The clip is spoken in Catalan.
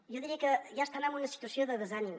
jo diria que ja estan en una situació de desànim